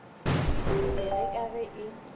e kwešišege ka ge e